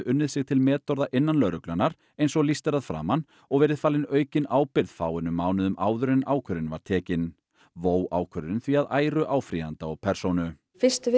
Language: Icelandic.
unnið sig til metorða innan lögreglunnar eins og lýst er að framan og verið falin aukin ábyrgð fáeinum mánuðum áður en ákvörðunin var tekin vó ákvörðunin því að æru áfrýjanda og persónu fyrstu